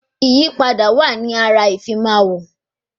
Ìyípadà wa ní ara ìfimáwọ̀